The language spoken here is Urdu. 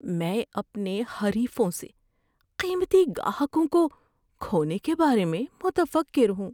میں اپنے حریفوں سے قیمتی گاہکوں کو کھونے کے بارے میں متفکر ہوں۔